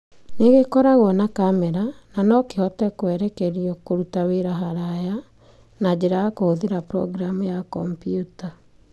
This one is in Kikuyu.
Nĩ gĩkoragwo na kamera na no kĩhote kũerekerio kũruta wĩra haraya. Na njĩra ya kũhũthĩra progiramu ya kompiuta.